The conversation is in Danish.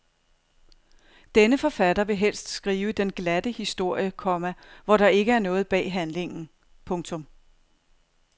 Denne forfatter vil helst skrive den glatte historie, komma hvor der ikke er noget bag handlingen. punktum